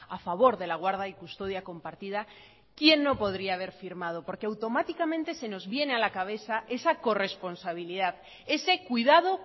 a favor de la guarda y custodia compartida quién no podría haber firmado porque automáticamente se nos viene a la cabeza esa corresponsabilidad ese cuidado